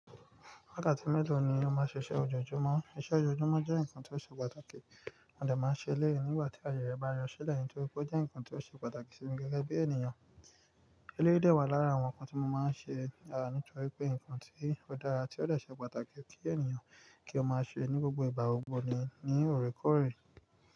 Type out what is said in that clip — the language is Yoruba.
Wákàtí mélòó ni o máa ṣe iṣẹ́ ojoojúmọ́? Iṣẹ́ ojoojúmọ́ jẹ́ nǹkan tó ṣe pàtàkì, àdẹ̀ máa ń ṣe lẹ́ẹ̀ nígbà tí ayẹyẹ bá rẹ sílẹ̀ nítorí pé ó jẹ́ nǹkan tó ṣe pàtàkì sí mi gẹ́gẹ́ bí ènìyàn. Eléyi dẹ́ wà lára àwọn nǹkan tí mo máa ń ṣe, á nítorí pé nǹkan tí ó dára tí ó dọ̀ ṣẹ pàtàkì kí ènìyàn kí ó máa ṣe ní gbogbo ìgbà gbogbo ni, ni òrékọ́òrẹ́